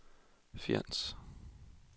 Fjends